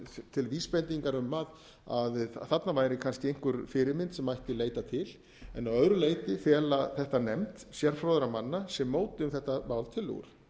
til vísbendingar um að þarna væri kannski einhver fyrirmynd sem mætti leita til en að öðru leyti fela þetta nefnd sérfróðra manna sem mótuðu um þetta mál tillögur